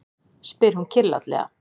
spyr hún kyrrlátlega.